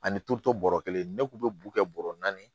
Ani turuto bɔrɔ kelen ne kun bɛ bu kɛ bɔrɔ naani ye